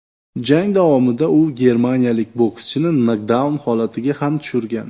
Jang davomida u germaniyalik bokschini nokdaun holatiga ham tushirgan.